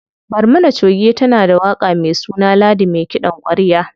Barmana choge tana da waƙa me suna Ladi me kiɗan ƙwarya.